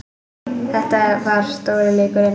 Þetta var stóri leikurinn